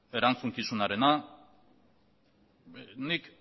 erantzukizunarena nik